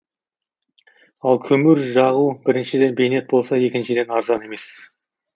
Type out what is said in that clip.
ал көмір жағу біріншіден бейнет болса екіншіден арзан емес